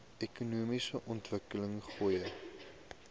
ekonomiese ontwikkeling goeie